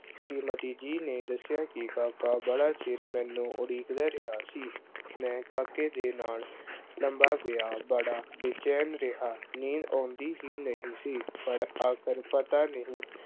ਸ਼੍ਰੀਮਤੀ ਜੀ ਨੇ ਦੱਸਿਆ ਕਿ ਕਾਕਾ ਬੜ ਚਿਰ ਮੈਨੂੰ ਉਡੀਕਦਾ ਰਿਹਾ ਸੀ। ਮੈਂ ਕਾਕੇ ਦੇ ਨਾਲ ਲੰਬਾ ਪਿਆ, ਬੜਾ ਬੇਚੈਨ ਰਿਹਾ। ਨੀਂਦ ਆਉਂਦੀ ਹੀ ਨਹੀਂ ਸੀ। ਪਰ ਆਖਰ ਪਤਾ ਨਹੀਂ